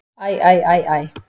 Æ, æ, æ, æ!